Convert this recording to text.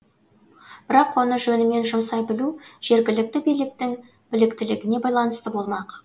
бірақ оны жөнімен жұмсай білу жергілікті биліктің біліктілігіне байланысты болмақ